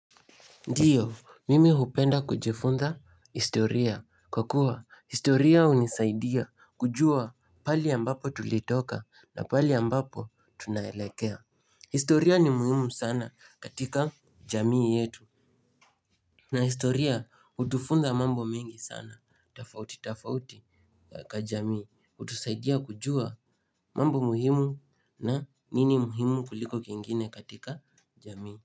Ndiyo mimi hupenda kujifunza historia kwa kuwa historia hunisaidia kujua pahali ambapo tulitoka na pahali ambapo tunaelekea. Historia ni muhimu sana katika jamii yetu na historia hutufunza mambo mengi sana tofauti tofauti kwa jamii hutusaidia kujua mambo muhimu na nini muhimu kuliko kingine katika jamii.